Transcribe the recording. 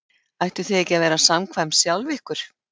Ættuð þið ekki að vera samkvæm sjálf ykkur?